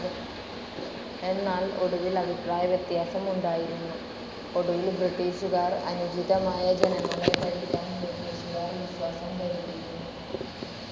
എന്നാൽ, ഒടുവിൽ അഭിപ്രായവ്യത്യാസം ഉണ്ടായിരുന്നു, ഒടുവിൽ ബ്രിട്ടീഷുകാർ അനുചിതമായ ജനങ്ങളെ ഭരിക്കാൻ ബ്രിട്ടീഷുകാർ വിശ്വാസം കരുതിയിരുന്നു.